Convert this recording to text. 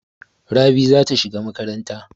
Rabi za ta shiga makaranta.